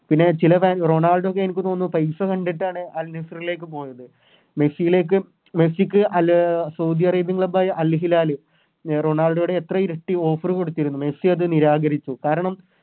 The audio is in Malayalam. പിന്നെ ചില റൊണാൾഡോയൊക്കെ എനിക്ക് തോന്നുന്നു പൈസ കണ്ടിട്ടാണ് Al nassr ലേക്ക് പോയത് മെസ്സിലേക്കും മെസ്സിക്ക് അലെ സൗദി Arabian club ആയ Al hilal റൊണാൾഡോയുടെ എത്രയോ ഇരട്ടി Offer കൊടുത്തിരുന്നു മെസ്സി അത് നിരാകരിച്ചു കാരണം